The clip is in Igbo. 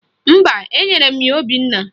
Mba, enyere m ya Obinna